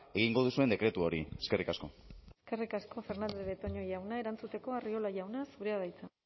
egingo duzuen dekretu hori eskerrik asko eskerrik asko fernandez de betoño jauna erantuzteko arriola jauna zurea da hitza